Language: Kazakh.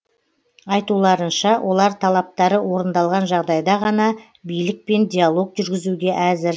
айтуларынша олар талаптары орындалған жағдайда ғана билікпен диалог жүргізуге әзір